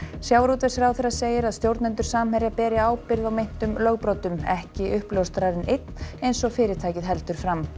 sjávarútvegsráðherra segir að stjórnendur Samherja beri ábyrgð á meintum lögbrotum ekki uppljóstrarinn einn eins og fyrirtækið heldur fram